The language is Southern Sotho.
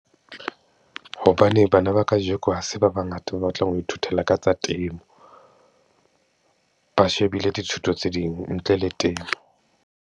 Hobane bana ba kajeko ha se ba bangata ba batlang ho ithutela ka tsa temo, ba shebile dithuto tse ding ntle le temo.